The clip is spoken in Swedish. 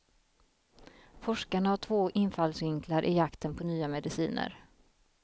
Forskarna har två infallsvinklar i jakten på nya mediciner.